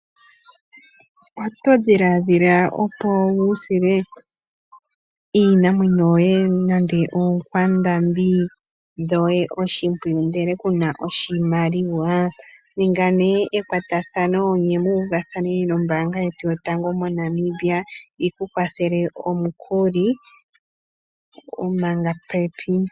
Oto dhiladhila opo wusile iinamwenyo yoye nande oonkwandambi dhoye oshimpwiyu ndele kuna oshimaliwa ninga nee ekwatathano ne muuvathane nombaanga yotango moNamibia yiku kwathele omukuli manga pepi.